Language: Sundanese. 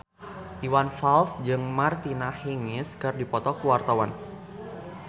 Iwan Fals jeung Martina Hingis keur dipoto ku wartawan